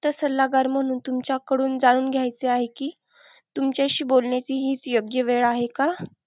सल्लागार म्हणून तुमच्याकडून जाणून घेयचं आहे कि, तुमच्याशी बोलण्याची हि योग्य वेळ आहे का?